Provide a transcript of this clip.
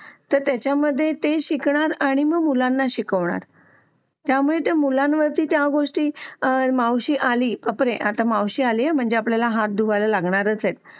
तर ते त्याच्यामध्ये शिकणार आणि मग मुलांना शिकवणार त्यामुळे ते मुलांवर त्या गोष्टी मावशी आली तर कळेल मावशी आले मग आपल्याला हात धुवायला लागणारच आहेत